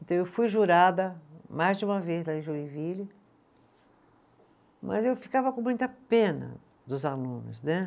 Então eu fui jurada mais de uma vez lá em Joinville, mas eu ficava com muita pena dos alunos, né?